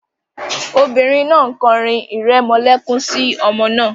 The woman is singing a lullaby to the baby